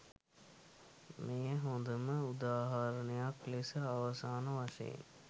මෙය හොඳම උදාහරණයක් ලෙස අවසාන වශයෙන්